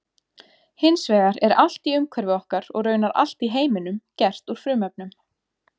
Hins vegar er allt í umhverfi okkar og raunar allt í heiminum gert úr frumefnum.